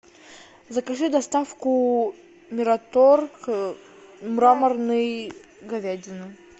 закажи доставку мираторг мраморной говядины